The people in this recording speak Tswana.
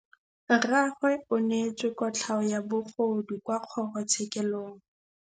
Rragwe o neetswe kotlhaô ya bogodu kwa kgoro tshêkêlông.